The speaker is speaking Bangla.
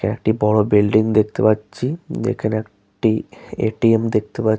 একটি বড় বিউল্ডিং দেখতে পাচ্ছি এখানে একটি এ.টি.এম. দেখতে পাচ--